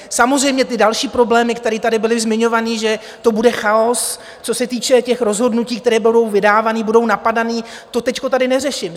Samozřejmě ty další problémy, které tady byly zmiňovány, že to bude chaos, co se týče těch rozhodnutí, která budou vydávána, budou napadána, to teď tady neřeším.